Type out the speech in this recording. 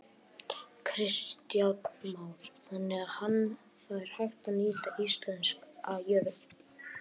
Kristján Már: Þannig að hann, það er hægt að nýta íslenska jörð?